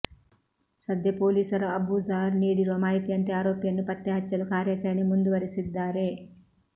ಸದ್ಯ ಪೊಲೀಸರು ಅಬೂಜಾರ್ ನೀಡಿರುವ ಮಾಹಿತಿಯಂತೆ ಆರೋಪಿಯನ್ನು ಪತ್ತೆ ಹಚ್ಚಲು ಕಾರ್ಯಾಚರಣೆ ಮುಂದುವರೆಸಿದ್ದಾರೆ